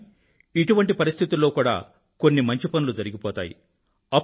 కానీ ఇటువంటి పరిస్థితుల్లో కూడా కొన్ని మంచి పనులు జరిగిపోతాయి